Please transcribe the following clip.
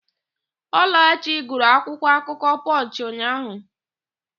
Ọlachi gụrụ akwụkwọakụkọ Pọnchị ụnyaahụ.